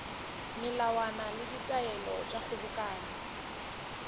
melawana le ditaelo tša kgobokano